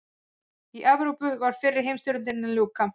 Í Evrópu var fyrri heimsstyrjöldinni að ljúka.